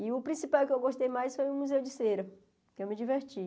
E o principal que eu gostei mais foi o Museu de Cera, porque eu me diverti.